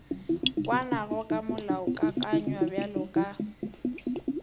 kwanago ka molaokakanywa bjalo ka